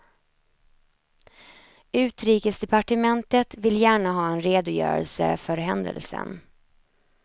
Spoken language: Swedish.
Utrikesdepartementet vill gärna ha en redogörelse för händelsen.